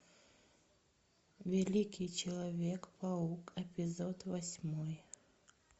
великий человек паук эпизод восьмой